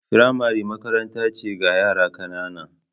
Firamare makaranta ce ga yara ƙanana.